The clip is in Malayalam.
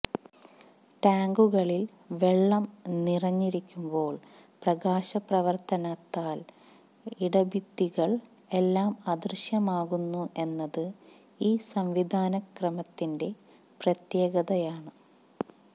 ടാങ്കുകളിൽ വെള്ളംനിറഞ്ഞിരിക്കുമ്പോൾ പ്രകാശാപ്രവർത്തനത്താൽ ഇടഭിത്തികൾ എല്ലാം അദൃശ്യമാകുന്നു എന്നത് ഈ സംവിധാനക്രമത്തിന്റെ പ്രത്യേകതയാണ്